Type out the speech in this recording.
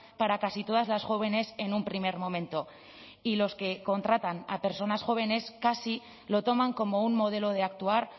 para casi todas las jóvenes en un primer momento y los que contratan a personas jóvenes casi lo toman como un modelo de actuar